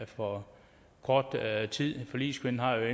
for kort tid forligskvinden har